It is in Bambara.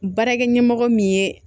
Baarakɛ ɲɛmɔgɔ min ye